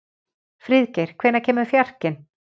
Friðgeir, hvenær kemur fjarkinn?